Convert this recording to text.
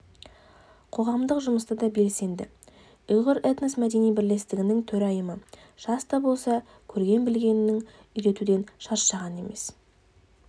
қоғамдық жұмыста да белсенді ұйғыр этно-мәдени бірлестігінің төрайымы жас та болса көрген-білгенін үйретуден шаршаған емес